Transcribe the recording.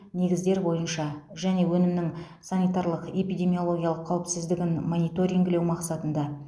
негіздер бойынша және өнімнің санитарлық эпидемиологиялық қауіпсіздігін мониторингілеу мақсатында